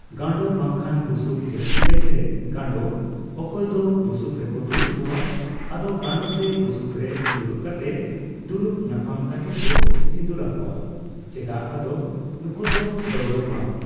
ᱜᱟᱸᱰᱚ ᱵᱟᱠᱷᱟᱱ ᱵᱩᱥᱩᱵ ᱡᱟᱹᱥᱛᱤ ᱠᱟᱭᱛᱮ ᱜᱟᱸᱰᱚ ᱾ ᱚᱠᱚᱭ ᱫᱚ ᱵᱩᱥᱩᱵ ᱨᱮᱠᱚ ᱫᱩᱲᱩᱵ ᱠᱚᱣᱟ ᱾ ᱟᱫᱚ ᱜᱟᱸᱰᱚ ᱥᱮ ᱵᱩᱥᱩᱵ ᱨᱮ ᱰᱩᱲᱩᱵ ᱠᱟᱛᱮᱫ ᱫᱩᱲᱩᱵ ᱧᱟᱯᱟᱢ ᱠᱟᱛᱮᱫ ᱠᱚ ᱥᱤᱫᱩᱨ ᱟᱠᱚᱭᱟ ᱾ᱪᱮᱫᱟᱜ ᱟᱫᱚ ᱱᱩᱠᱩ ᱫᱚ ᱫᱟᱹᱣᱲᱟᱹ ᱵᱟᱝ